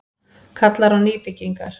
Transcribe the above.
Kallar á nýbyggingar